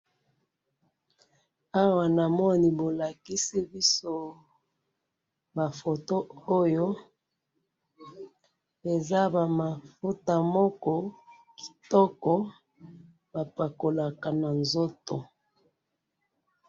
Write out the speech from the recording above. awa namoni bolakisi biso ma photos oyo eza ba mafuta moko kitoko bapakolaka na nzoto